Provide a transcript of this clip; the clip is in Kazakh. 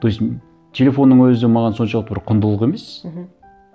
то есть телефонның өзі маған соншалықты бір құндылық емес мхм